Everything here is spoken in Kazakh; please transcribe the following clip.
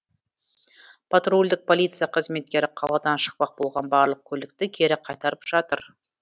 патрульдік полиция қызметкері қаладан шықпақ болған барлық көлікті кері қайтарып жатыр